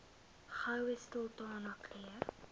goue sultana keur